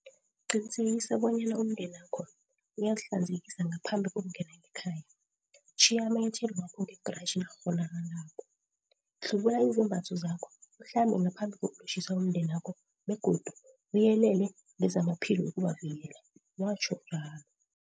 Qinisekisabonyana umndenakho uyazihlanzekisa ngaphambi kokungena ngekhaya, tjhiya amanyathelo wakho ngegratjhi nakukghonakalako, hlubula izembatho zakho uhlambe ngaphambi kokulotjhisa umndenakho begodu uyelele ngezamaphilo ukubavikela, watjho njalo.